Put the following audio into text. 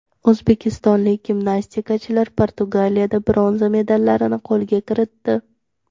O‘zbekistonlik gimnastikachilar Portugaliyada bronza medallarni qo‘lga kiritdi.